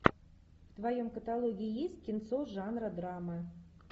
в твоем каталоге есть кинцо жанра драмы